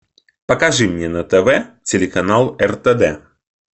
покажи мне на тв телеканал ртд